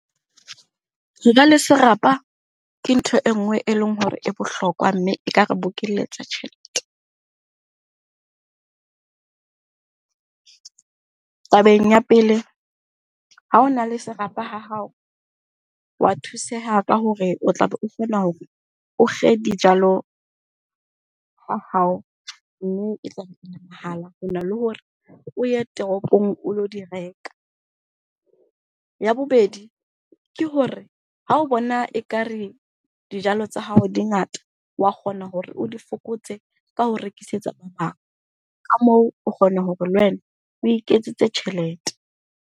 Serapa ke ntho e nngwe e leng hore e bohlokwa mme e ka re bokeletsa tjhelete. Tabeng ya pele, ha o na le serapa ha hao, wa thuseha ka hore o tla be o o kge dijalo ha hao mme mahala hona le hore o ye toropong o lo di reka. Ya bobedi, ke hore ha o bona ekare dijalo tsa hao di ngata, wa kgona hore o di fokotse ka ho rekisetsa ba bang. Ka moo o kgona hore le wena o iketsetse tjhelete.